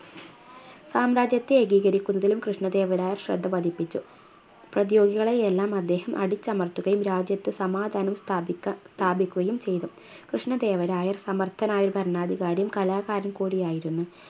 സാമ്രാജ്യത്തെ ഏകീകരിക്കുന്നതിലും കൃഷ്ണദേവരായ ശ്രദ്ധപതിപ്പിച്ചു പ്രതിയോഗികളെയെല്ലാം അദ്ദേഹം അടിച്ചമർത്തുകയും രാജ്യത്ത് സമാധാനം സ്ഥാപിക്ക സ്ഥാപിക്കുകയും ചെയ്തു കൃഷ്ണദേവരായർ സമർത്ഥനായ ഒരു ഭരണാധികാരിയും കലാകാരൻ കൂടിയായിരുന്നു